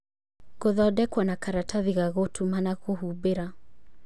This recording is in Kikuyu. Gũthondekwo na karatathi ga gũtuma na kũhumbĩra.